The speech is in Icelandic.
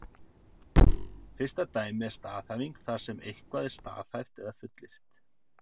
Fyrsta dæmið er staðhæfing þar sem eitthvað er staðhæft eða fullyrt.